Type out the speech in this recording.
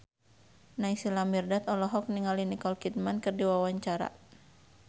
Naysila Mirdad olohok ningali Nicole Kidman keur diwawancara